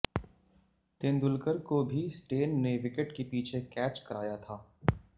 तेंदुलकर को भी स्टेन ने विकेट के पीछे कैच कराया था